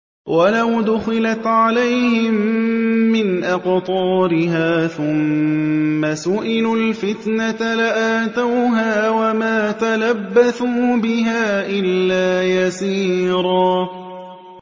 وَلَوْ دُخِلَتْ عَلَيْهِم مِّنْ أَقْطَارِهَا ثُمَّ سُئِلُوا الْفِتْنَةَ لَآتَوْهَا وَمَا تَلَبَّثُوا بِهَا إِلَّا يَسِيرًا